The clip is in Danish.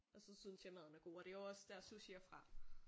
Og så synes jeg maden er god og det er jo også der sushi er fra